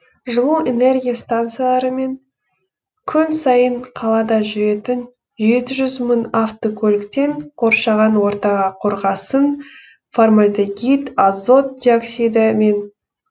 жылу энергия станциялары мен күн сайын қалада жүретін жеті жүз мың автокөліктен қоршаған ортаға қорғасын фармальдегид азот диоксидімен